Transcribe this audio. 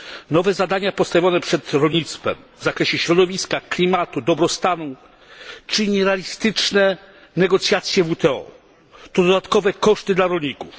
Nowe zadania postawione przed rolnictwem w zakresie środowiska, klimatu, dobrostanu czy nierealistyczne negocjacje w WTO to dodatkowe koszty dla rolników.